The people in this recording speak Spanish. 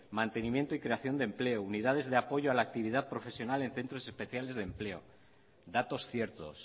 mantenimiento y creación de empleo unidades de apoyo a la actividad profesional en centros especiales de empleo datos ciertos